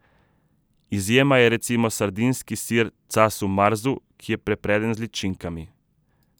Izjema je recimo sardinski sir casu marzu, ki je prepreden z ličinkami.